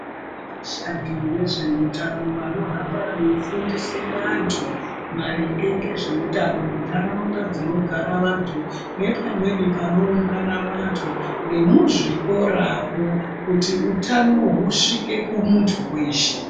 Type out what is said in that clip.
Vashandi vezveutano vanohamba veifundise vantu maringe ngezveutano munharaunda dzinogara vantu nepamweni panoungana vantu nemuzvikoramo kuti hutano husvike kumuntu weshe.